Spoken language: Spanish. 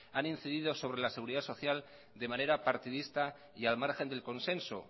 ha incidido sobre la seguridad social de manera partidista y al margen del consenso